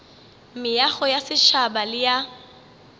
meago ya setšhaba le ya